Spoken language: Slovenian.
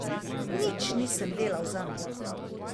Nič nisem delal zanj.